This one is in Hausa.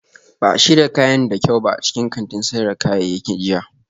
Ba a shirya kayan da kyau ba a cikin kantin sayar da kayayyaki jiya